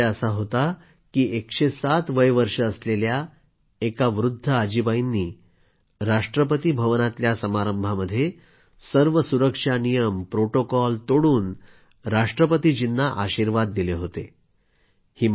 चर्चेचा विषय असा होता की एकशे सात वय वर्षे असलेल्या एका वृद्ध आजीबाईंनी राष्ट्रपती भवनातल्या समारंभामध्ये सर्व सुरक्षा नियम प्रोटोकॉल तोडून राष्ट्रपतीजींना आशीर्वाद दिले होते